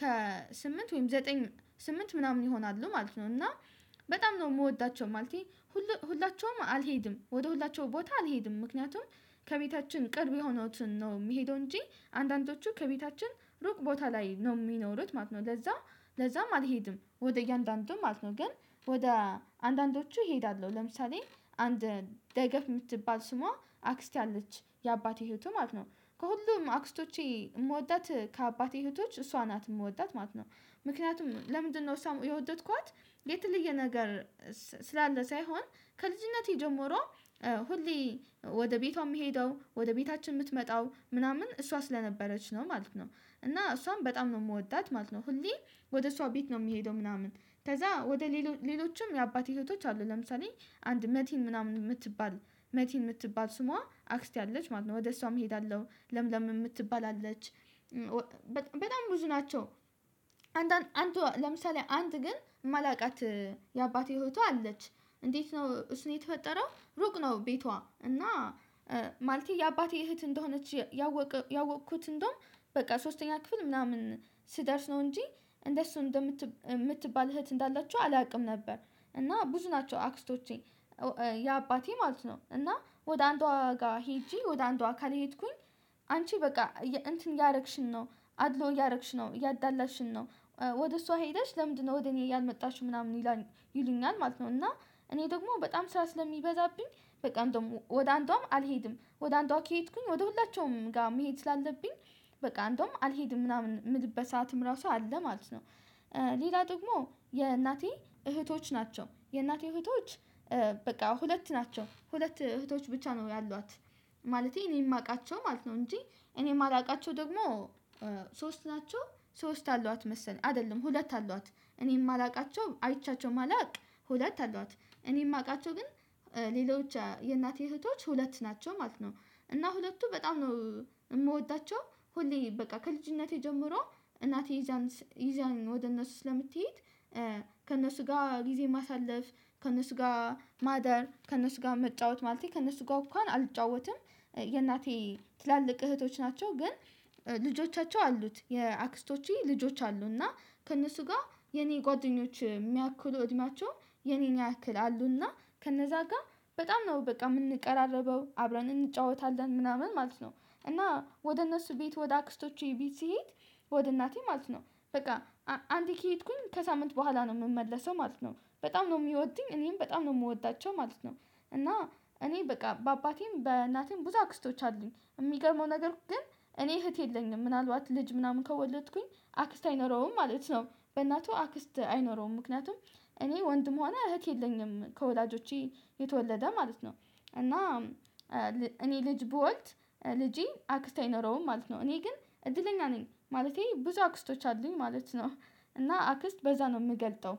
ከስምንት ወይም ዘጠኝ ስምንት ምናምን ይሆናሉ ማለት ነው። እና በጣም ነው። የምወዳቸው ማለቴ ሁላቸውም አልሄድም፣ ወደ ሁላችሁ ቦታ አልሄድም። ምክንያቱም ከቤታችን ቅርብ የሆኑትን ነው የሚሄዱ እንጂ አንዳንዶቹ ከቤታችን ሩቅ ቦታ ላይ ነው የሚኖሩት ማለት ነው። ለዛ ለዛም አልሄድም ወደ እያንዳንዱም ማለት ነው። ግን ወደ አንዳንዶቹ እሄዳለሁ፣ ለምሳሌ አንድ ደገፍ የምትባል ስሟ አክስት አለች የአባቴ ህይወቱ ማለት ነው። ከሁሉም አክስቶቼ የምወዳት ከአባቴ እህቶች እሷ ናት የምወዳት ማለት ነው። ምክንያቱም ለምንድነው እሷው የወደድኳት የት የለየ ነገር ስላለ ሳይሆን፣ ከልጅነቴ ጀምሮ ሁሌ ወደ ቤቷ የምትሄደው፣ ወደ ቤታችን የምትመጣው ምናምን እሷ ስለነበረች ነው። ማለት ነው። እና እሷም በጣም ነው የምወዳት ማለት ነው። ሁሌ ወደ እሷ ቤት ነው የሚሄደው ምናምን ከዛ ወደ ሌሎችም የአባቴ እህቶቹ አሉ ለምሳሌ አንድ መቲን፣ ምናምን የምትባል መቲን፣ የምትባል ስሟ አክስት አለች ማለት ነው። ወደ እሷም እሄዳለሁ ለምለም የምትባል አለች በጣም ብዙ ናቸው። አንተ አንተ ለምሳሌ አንድ ግን ማላውቃት የአባቴ እህቱ አለች እንዴት ነው እሱን የተፈጠረው ሩቅ ነው ቤቷ እና ማለቴ የአባቴ እህት እንደሆነች ያወቅኩት እንደውም በቃ ሶስተኛ ክፍል ምናምን ስደርስ ነው እንጂ እንደሱ እንደምትባል እህት እንዳላችሁ አላውቅም ነበር። እና ብዙ ናቸው አክስቶቼ የአባቴ ማለት ነው። እና ወደ አንዷ ጋር ሄጄ ወደ አንዷ ጋር ካልሄድኩኝ አንቺ በቃ እንትን ያደረግሽን ነው። አድሎ እያደረግሽ ነው። እያዳላሽን ነው። ወደ እሷ ሄደሽ ለምንድነው ወደ እኔ ያልመጣሽው ምናምን ይላል ይሉኛል ማለት ነው። እና እኔ ደግሞ በጣም ስራ ስለሚበዛብኝ በቃ እንደውም ወደ አንዷም አልሄድም ወደ አንዷ ከሄድኩኝ ወደ ሁላችሁም ጋር መሄድ ስላለብኝ በቃ አንደውም አልሄድም ምናምን የምልበት ሰዓትም ራሱ አለ ማለት ነው። ሌላ ደግሞ፣ የእናቴ እህቶች ናቸው። የእናቴ እህቶች በቃ ሁለት ናቸው። ሁለት እህቶች ብቻ ነው ያሏት ማለቴ እኔ የማውቃቸው ማለት ነው። እንጂ እኔ የማላውቃቸው ደግሞ ሶስት ናቸው። ሶስት አሏት መሰለኝ አይደለም ሁለት አሏት እኔም ማላውቃቸው አይቻቸው ማላውቅ ሁለት አሏት እኔ የማውቃቸው ግን ሌሎች የእናቴ እህቶች ሁለት ናቸው ማለት ነው። እና ሁለቱ በጣም ነው የምወዳቸው ሁሌ በቃ ከልጅነቴ ጀምሮ እናቴ ይዛን ይዛኝ ወደ እነሱ ስለምትሄድ ከእነሱ ጋር ጊዜ ማሳለፍ፣ ከእነሱ ጋር ማደር፣ ከእነሱ ጋር መጫወት፣ ማለት ነው። ከእነሱ ጋር እንኳን አልጫወትም የእናቴ ትላልቅ እህቶች ናቸው ግን ልጆቻቸው አሉት የአክስቶች ልጆች አሉ እና ከእነሱ ጋር የኔ ጓደኞች የሚያክሉ እድማቸው የኔን ያክላሉና ከነዛ ጋር በጣም ነው በቃ የምንቀራረበው አብረን እንጫወታለን ምናምን ማለት ነው። እና ወደ እነሱ ቤት ወደ አክስቶቼ ቤት ስሄድ ወደ እናቴ ማለት ነው በቃ አንድ ከሄድኩኝ ከሳምንት በኋላ ነው የምመለሰው ማለት ነው። በጣም ነው የሚወዱኝ እኔም በጣም ነው የምወዳቸው ማለት ነው። እና እኔ በቃ በአባቴም በእናቴም ብዙ አክስቶች አሉኝ የሚገርመው ነገር ግን እኔ እህት የለኝም። ምናልባት ልጅ ምናምን ከወለድኩኝ አክስት አይኖረውም ማለት ነው። በእናቱ አክስት አይኖረውም ምክንያቱም እኔ ወንድም ሆነ እህቴ የለኝም ከወላጆቼ የተወለደ ማለት ነው። እና እኔ ልጅ ብወልድ ልጄ አክስት አይኖረውም ማለት ነው። እኔ ግን እድለኛ ነኝ ማለቴ ብዙ አክስቶች አሉኝ ማለት ነው። እና፣ አክስት በዛ ነው የምገልጠው